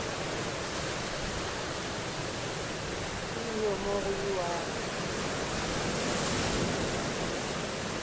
go iwe mo go iwago